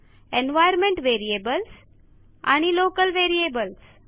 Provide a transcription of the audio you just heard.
environment variables आणि local variables